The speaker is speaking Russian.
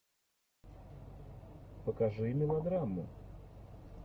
покажи мелодраму